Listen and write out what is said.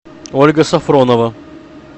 ольга сафронова